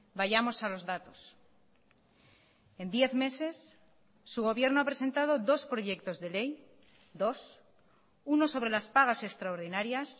vayamos a los datos en diez meses su gobierno ha presentado dos proyectos de ley dos uno sobre las pagas extraordinarias